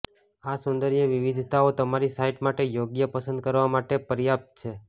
આ સૌંદર્ય વિવિધતાઓ તમારી સાઇટ માટે યોગ્ય પસંદ કરવા માટે પર્યાપ્ત છે